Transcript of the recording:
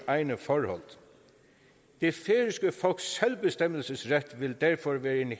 egne forhold det færøske folks selvbestemmelsesret vil derfor være en